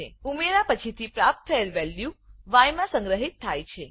ઉમેરા પછીથી પ્રાપ્ત થયેલ વેલ્યુ ય માં સંગ્રહિત થાય છે